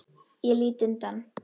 Ég lít undan.